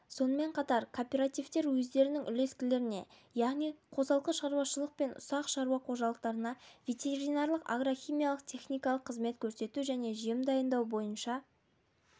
сонымен қатар кооперативтер өздерінің үлескерлеріне яғни қосалқы шаруашылық пен ұсақ шаруа қожалықтарына ветеринарлық агрохимиялық техникалық қызмет көрсету және жем дайындау бойынша